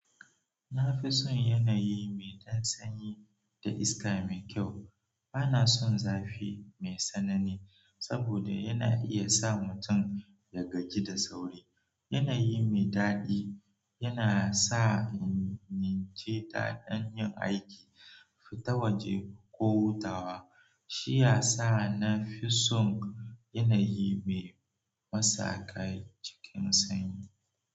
Na fi son yanayi mai ɗan sanyi da iska mai kyau. Bana son zafi mai tsanani saboda yana iya sa mutum ya gaji da sauri. Yanayi mai daɗi yana sa in nince da ɗin yin aiki, fitowa je, ko hutawa. Shiya sa na fi son yanayi me masakai cikin sanyi.